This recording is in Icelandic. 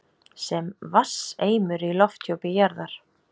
sem vatnseimur í lofthjúpi jarðar.